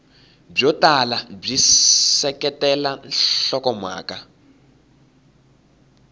byo tala byi seketela nhlokomhaka